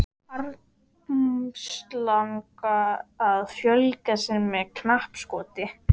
Armslanga að fjölga sér með knappskoti.